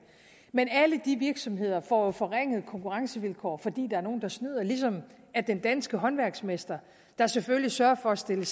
men alle de virksomheder får forringede konkurrencevilkår fordi der er nogen der snyder ligesom den danske håndværksmester der selvfølgelig sørger for at stille